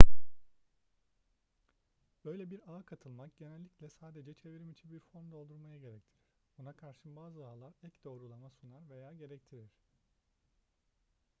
böyle bir ağa katılmak genellikle sadece çevrimiçi bir form doldurmayı gerektirir buna karşın bazı ağlar ek doğrulama sunar veya gerektirir